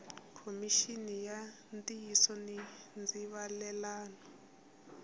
khomixini ya ntiyiso ni ndzivalelano